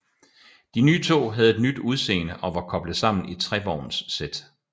De nye tog havde et nyt udseende og var koblet sammen i trevognssæt